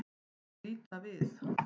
Þau líta við.